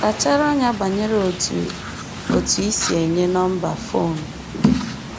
Kpachara anya banyere otú, otú i si enye nọmba fon gị